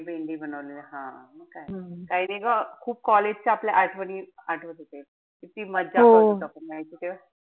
भेंडी बनवलेली. हा. काई नाई ग खूप college च्या आपल्या आठवणी आठवत होत्या. किती मजा यायची नाई का तेव्हा?